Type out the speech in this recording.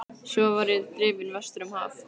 Svo var ég drifinn vestur um haf.